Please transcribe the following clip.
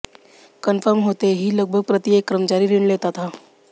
confirm होते ही लगभग प्रत्येक कर्मचारी ऋण लेता था